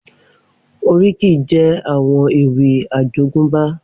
Oríkì jè áwòn éwì àjógùnbá